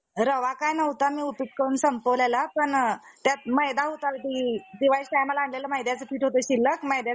असे म्हणणारा~ म्हणणार नाही. असो. बरे, ते अंडे पाण्यात आहे. म्हणून म्हणून तो मोठ्या महत्वाचा निरोप कोणत्या आमर मत्सिने पाण्याबाहेर घेऊन,